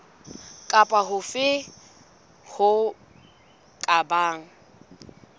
kapa hofe ho ka bang